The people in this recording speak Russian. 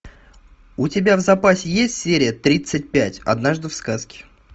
у тебя в запасе есть серия тридцать пять однажды в сказке